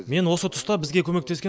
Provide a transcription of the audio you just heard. мен осы тұста бізге көмектескен